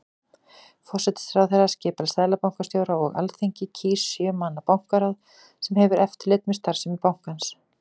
Forsætisráðherra skipar seðlabankastjóra og Alþingi kýs sjö manna bankaráð sem hefur eftirlit með starfsemi bankans.